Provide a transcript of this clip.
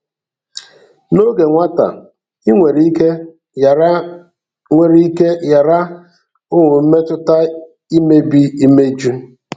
N’oge nwata, i nwere ike ghara nwere ike ghara ịhụ mmetụta imebi imeju.